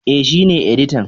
E, shi ne editan.